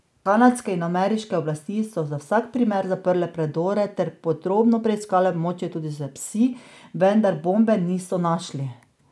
Kanadske in ameriške oblasti so za vsak primer zaprle predor ter podrobno preiskale območje, tudi s psi, vendar bombe niso našli.